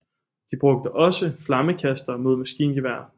De brugte også flammekastere mod maskingeværer